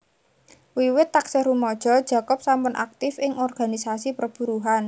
Wiwit taksih rumaja Jacob sampun aktif ing organisasi perburuhan